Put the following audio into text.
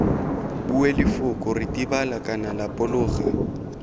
bue lefoko ritibala kana lapologa